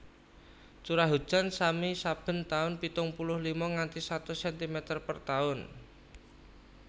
Curah hujan sami saben tahun pitung puluh lima nganti satus sentimeter per tahun